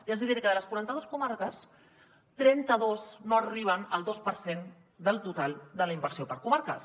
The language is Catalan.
i els diré que de les quaranta dos comarques trenta dos no arriben al dos per cent del total de la inversió per comarques